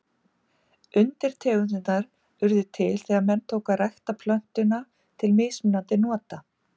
Undirtegundirnar urðu til þegar menn tóku að rækta plöntuna til mismunandi nota.